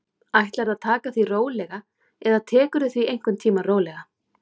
Ætlarðu að taka því rólega, eða tekurðu því einhvern tímann rólega?